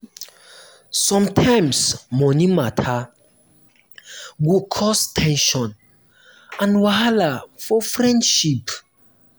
sometimes money matter go cause ten sion and wahala for friendship.